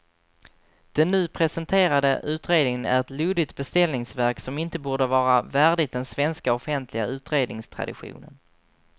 Den nu presenterade utredningen är ett luddigt beställningsverk som inte borde vara värdigt den svenska offentliga utredningstraditionen.